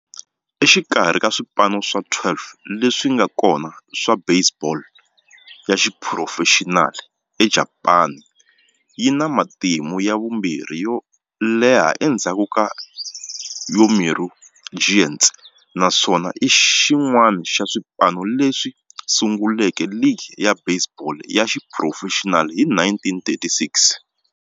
Exikarhi ka swipano swa 12 leswi nga kona swa baseball ya xiphurofexinali eJapani, yi na matimu ya vumbirhi yo leha endzhaku ka Yomiuri Giants, naswona i xin'wana xa swipano leswi sunguleke ligi ya baseball ya xiphurofexinali hi 1936.